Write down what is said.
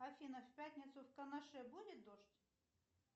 афина в пятницу в канаше будет дождь